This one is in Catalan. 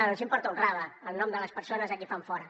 els importa un rave el nom de les persones a qui fan fora